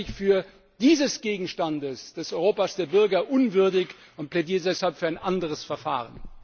Das halte ich für dieses Gegenstands des Europa der Bürger für unwürdig und plädiere deshalb für ein anderes Verfahren!